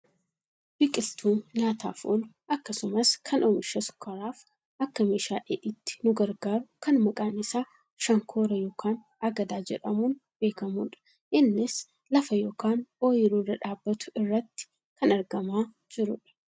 Biqiltuu nyaataaf oolu akkasumas kan oomisha sukkaaraaf akka meeshaa dheedhiitti nu gargaaru kan maqaan isaa shankoora yookaan agadaa jedhamuun beekkamudha. Innis lafa yookaan ooyiruu irra dhaabbatu irratti kan argamaa jirudha.